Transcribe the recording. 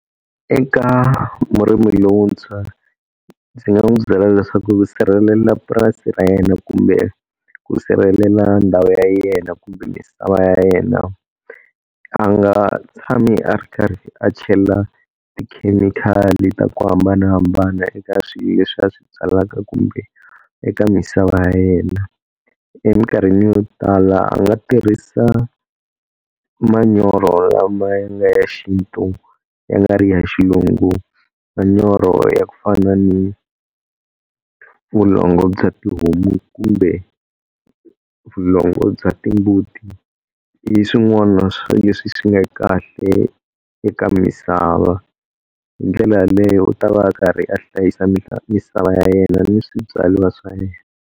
Eka murimi lowuntshwa ndzi nga n'wi byela leswaku ku sirhelela purasi ra yena kumbe ku sirhelela ndhawu ya yena kumbe misava ya yena a nga tshami a ri karhi a chela tikhemikhali ta ku hambanahambana eka swilo leswi a swi byalaka, kumbe eka misava ya yena. Emikarhini yo tala a nga tirhisa manyoro lama ya nga ya xintu ya nga ri ya xilungu, manyoro ya ku fana ni vulongo bya tihomu kumbe vulongo bya timbuti. I swin'wana swa leswi swi nga kahle eka misava hindlela yaleyo u ta va a karhi a hlayisa misava ya yena ni swibyariwa swa yena.